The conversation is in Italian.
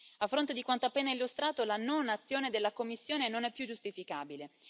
A fronte di quanto appena illustrato la non azione della Commissione non è più giustificabile.